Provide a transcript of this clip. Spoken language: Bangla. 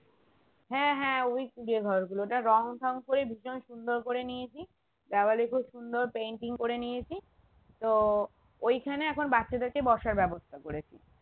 হ্যাঁ হ্যাঁ ওই কুঁড়ে ঘরগুলো ওটা রং ঠঙ করে ভীষণ সুন্দর করে নিয়েছি দেওয়ালে খুব সুন্দর painting করে নিয়েছি তো ঐখানে এখন বাচ্চাদেরকে বসার ব্যবস্থা করেছি